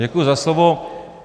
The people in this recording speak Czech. Děkuji za slovo.